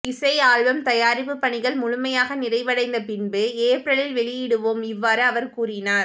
இசை ஆல்பம் தயாரிப்புப் பணிகள் முழுமையாக நிறைவடைந்த பின்பு ஏப்ரலில் வெளியிடுவோம் இவ்வாறு அவர் கூறினார்